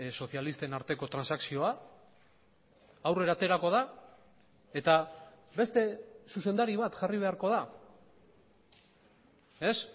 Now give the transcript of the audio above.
sozialisten arteko transakzioa aurrera aterako da eta beste zuzendari bat jarri beharko da ez